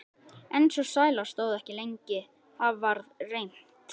En sú sæla stóð ekki lengi: Það varð reimt.